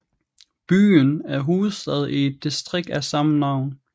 Byen er hovedstad i et distrikt af samme navn